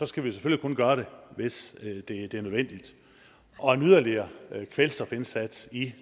skal vi selvfølgelig kun gøre det hvis det er nødvendigt og en yderligere kvælstofindsats i